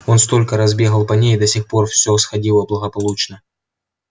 он столько раз бегал по ней и до сих пор всё сходило благополучно